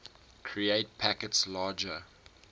create packets larger